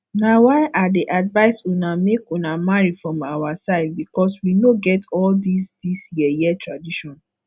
na why i dey advise una make una marry from our side because we no get all dis dis yeye tradition